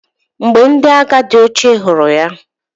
Mgbe ndi agha ndi oche huru ya..